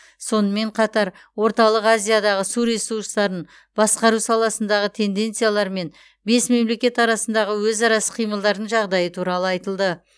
сонымен қатар орталық азиядағы су ресурстарын басқару саласындағы тенденциялар мен бес мемлекет арасындағы өзара іс қимылдардың жағдайы туралы айтылды